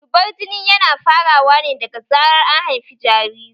Zubar jini yana farawa ne daga zarar an haifi jariri